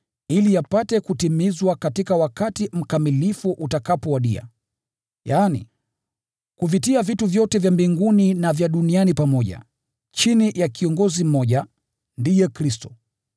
ili yapate kutimizwa wakati mkamilifu utakapowadia, yaani, kuvitia vitu vyote vya mbinguni na vya duniani pamoja, chini ya kiongozi mmoja, ndiye Kristo.